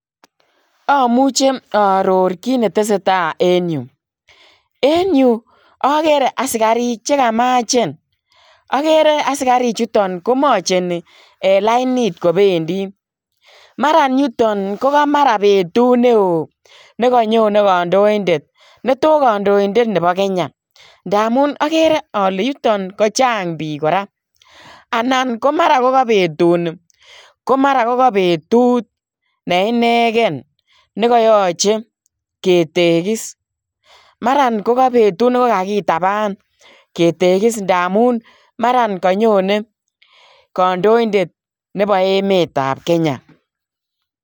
Amuchei aaoror kiit ne tesetai en Yuu en Yuu agere askariik che kamacheen askariik chutoon komacheni en lainit kobendii maraan ko betuut ne wooh nekanyonei kandoindet ne thoo kandoindet nebo [Kenya] ndamuun agere ale yutoon ko chaang biik kora anan ko mara ko ka betut nii ko ka betut neinegeen nekayachei ketegis maraan ko ka betut nekakitabaan